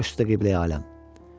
Baş üstə Qibləyi aləm.